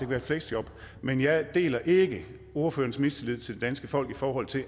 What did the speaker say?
være et fleksjob men jeg deler ikke ordførerens mistillid til det danske folk i forhold til